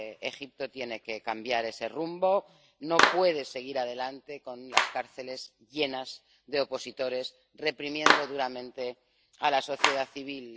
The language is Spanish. Egipto tiene que cambiar ese rumbo no puede seguir adelante con las cárceles llenas de opositores, reprimiendo duramente a la sociedad civil.